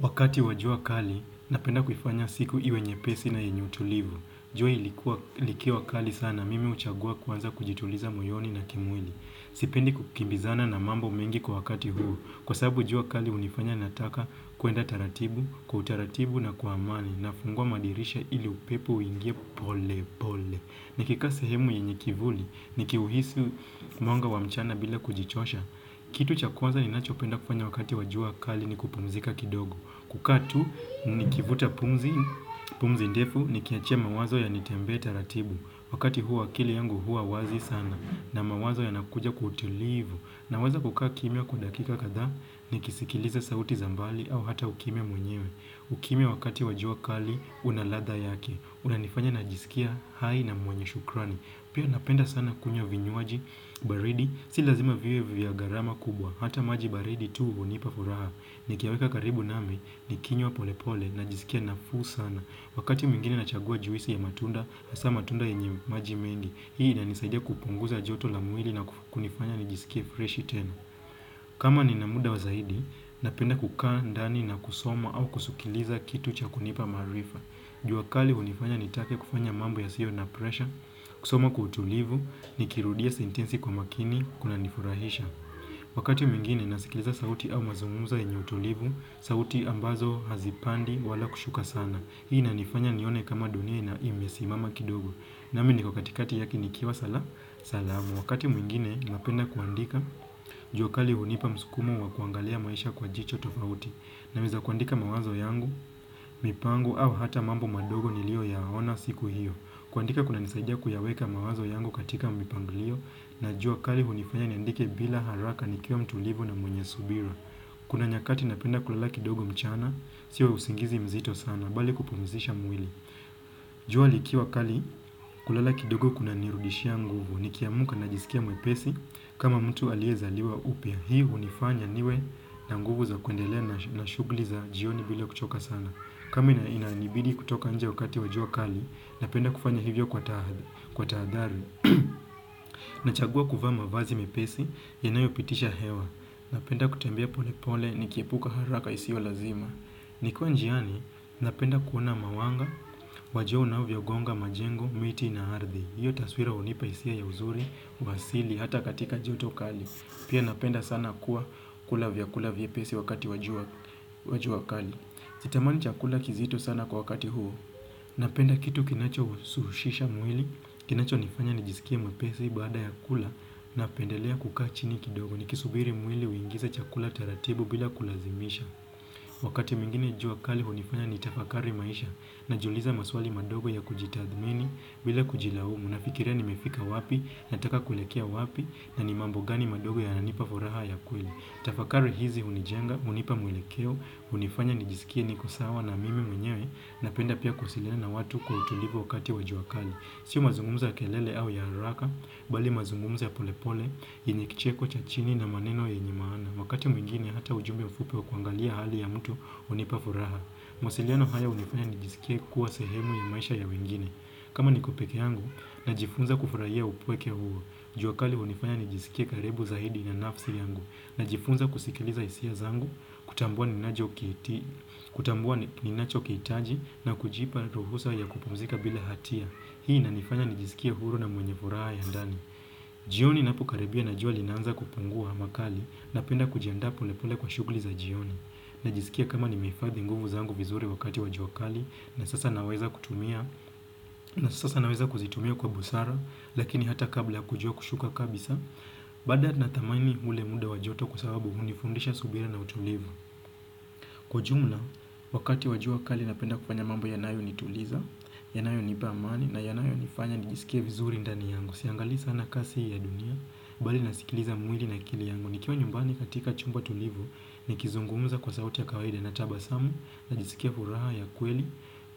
Wakati wa jua kali, napenda kuifanya siku iwe nyepesi na yenye utulivu. Jua likiwa kali sana, mimi huchagua kwanza kujituliza moyoni na kimwili. Sipendi kukimbizana na mambo mengi kwa wakati huu. Kwa sababu jua kali hunifanya nataka kuenda taratibu, kwa utaratibu na kwa amani, nafungua madirisha ili upepo uingie pole pole. Nikikaa sehemu yenye kivuli, nikiuhisi mwanga wa mchana bila kujichosha. Kitu cha kwanza ninachopenda kufanya wakati wa jua kali ni kupumzika kidogo. Kukaa tu nikivuta pumzi, pumzi ndefu nikiachia mawazo yanitembee taratibu. Wakati huo akili yangu huwa wazi sana na mawazo yanakuja kwa utulivu. Naweza kukaa kimya kwa dakika kadhaa nikisikiliza sauti za mbali au hata ukimya mwenyewe. Ukimya wakati wa jua kali, una ladha yake, unanifanya najisikia hai na mwenye shukrani Pia napenda sana kunywa vinywaji, baridi, si lazima viwe vya gharama kubwa, hata maji baridi tu hunipa furaha. Nikiyaweka karibu nami nikinywa pole pole, najisikia nafuu sana. Wakati mwingine nachagua juisi ya matunda, hasa matunda yenye maji mengi. Hii inanisaidia kupunguza joto la mwili na kunifanya nijisikie freshi tena. Kama nina muda wa zaidi, napenda kukaa ndani na kusoma au kusikiliza kitu cha kunipa maarifa jua kali hunifanya nitake kufanya mambo yasiyo na pressure, kusoma kwa utulivu nikirudia sentensi kwa makini kunanifurahisha Wakati mwingine nasikiliza sauti au mazungumuzo yenye utulivu, sauti ambazo hazipandi wala kushuka sana. Hii inanifanya nione kama dunia ina imesimama kidogo. Nami niko katikati yake nikiwa salama. Wakati mwingine napenda kuandika, jua kali hunipa msukumo wa kuangalia maisha kwa jicho tofauti. Naweza kuandika mawazo yangu, mipango au hata mambo madogo niliyo yaona siku hiyo. Kuandika kunanisaidia kuyaweka mawazo yangu katika mipango hiyo. Na jua kali hunifanya niandike bila haraka, nikiwa mtulivu na mwenye subira. Kuna nyakati napenda kulala kidogo mchana, sio usingizi mzito sana, bali kupumzisha mwili. Jua likiwa kali kulala kidogo kunanirudishia nguvu, nikiamka najisikia mwepesi, kama mtu aliyezaliwa upya. Hii hunifanya niwe na nguvu za kuendelea na shughuli za jioni bila kuchoka sana. Kama inanibidi kutoka nje wakati wa jua kali, napenda kufanya hivyo kwa tahadhari. Nachagua kuvaa mavazi mepesi yanayopitisha hewa. Napenda kutembea pole pole nikiepuka haraka isiyo lazima Nikiwa njiani, napenda kuona mawanga, jua unavyogonga majengo, miti na ardhi. Hiyo taswira hunipa hisia ya uzuri, uasili, hata katika joto kali. Pia napenda sana kuwa kula vyakula vyepesi wakati wa jua kali. Sitamani chakula kizito sana kwa wakati huu. Napenda kitu kinachohushisha mwili, kinacho nifanya nijisikie mwepesi baada ya kula, napendelea kukaa chini kidogo nikisubiri mwili uingize chakula taratibu bila kulazimisha. Wakati mwingine jua kali hunifanya nitafakari maisha, najiuliza maswali madogo ya kujitathmini bila kujilaumu. Nafikiria nimefika wapi, nataka kuelekea wapi na ni mambo gani madogo yananipa furaha ya kweli. Tafakari hizi hunijenga, hunipa mwelekeo, hunifanya nijisikie niko sawa na mimi mwenyewe napenda pia kuwasiliana na watu kwa utulivu wakati wa jua kali. Sio mazungumzo ya kelele au ya haraka, bali mazungumzo ya polepole, yenye kicheko cha chini na maneno yenye maana. Wakati mwingine hata ujumbe mfupi wa kuangalia hali ya mtu hunipa furaha. Mawasiliano haya hunifanya nijisikie kuwa sehemu ya maisha ya wengine. Kama niko peke yangu, najifunza kufurahia upweke huo. Jua kali hunifanya nijisikie karibu zaidi na nafsi yangu. Najifunza kusikiliza hisia zangu, kutambua ninacho kihitaji na kujipa ruhusa ya kupumzika bila hatia. Hii inanifanya nijisikie huru na mwenye furaha ya ndani jioni inapokaribia na jua linaanza kupungua makali, Napenda kujiandaa polepole kwa shughuli za jioni. Najisikia kama nimehifadhi nguvu zangu vizuri wakati wa jua kali, na sasa naweza kutumia na sasa naweza kuzitumia kwa busara, lakini hata kabla kujua kushuka kabisa Baada natamani ule muda wa joto kwa sababu hunifundisha subira na utulivu. Kwa jumla, wakati wa jua kali napenda kufanya mambo yanayonituliza yanayonipa amani na yanayonifanya nijisikie vizuri ndani yangu. Siangalii sana kasi ya dunia bali nasikiliza mwili na akili yangu. Nikiwa nyumbani katika chumba tulivu nikizungumuza kwa sauti ya kawaida natabasamu, najisikia furaha ya kweli,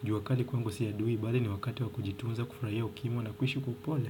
jua kali kwangu si adui bali ni wakati wa kujitunza, kufurahia ukimya na kuishi kwa upole.